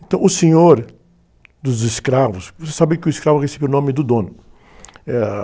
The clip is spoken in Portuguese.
Então, o senhor dos escravos, vocês sabem que o escravo recebeu o nome do dono. Eh...